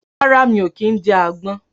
Rárá, mi ò kí ń jẹ àgbon